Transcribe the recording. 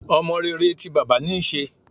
Ọmọ rere ti bàbá níí ṣe.